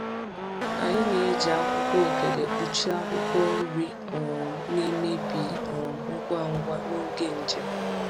Anyị na-eji akwụkwọ ogede kpuchie akwụkwọ nri um na-emebi um ngwa ngwa n’oge njem.